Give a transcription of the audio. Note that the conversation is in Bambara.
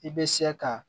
I bɛ se ka